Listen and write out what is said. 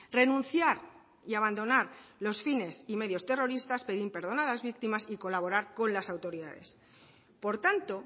renunciar y abandonar los fines y medios terroristas pedir perdón a las víctimas y colaborar con las autoridades por tanto